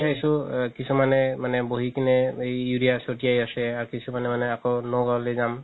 চাইছো কিছুমান মানুহে মানে বহি কিনে উৰিয়া চতিয়াই আছে আৰু কিছুমানে আকৌ যাম